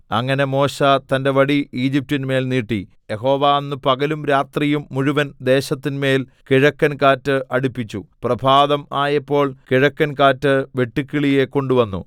അങ്ങനെ മോശെ തന്റെ വടി ഈജിപ്റ്റിന്മേൽ നീട്ടി യഹോവ അന്ന് പകലും രാത്രിയും മുഴുവൻ ദേശത്തിന്മേൽ കിഴക്കൻകാറ്റ് അടിപ്പിച്ചു പ്രഭാതം ആയപ്പോൾ കിഴക്കൻകാറ്റ് വെട്ടുക്കിളിയെ കൊണ്ടുവന്നു